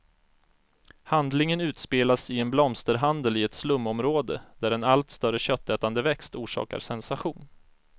Handlingen utspelas i en blomsterhandel i ett slumområde, där en allt större köttätande växt orsakar sensation.